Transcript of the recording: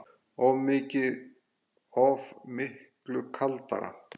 Oft miklu kaldara